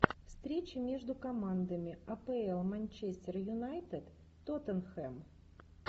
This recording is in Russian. встреча между командами апл манчестер юнайтед тоттенхэм